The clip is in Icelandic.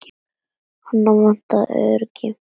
Hana vantar öryggi.